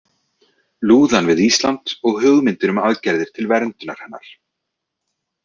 Lúðan við Ísland og hugmyndir um aðgerðir til verndunar hennar.